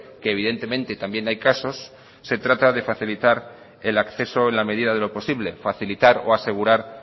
que evidentemente también hay casos se trata de facilitar el acceso en la medida de lo posible facilitar o asegurar